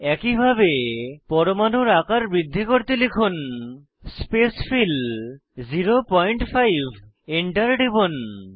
একইভাবে পরমাণুর আকার বৃদ্ধি করতে লিখুন স্পেসফিল 05 Enter টিপুন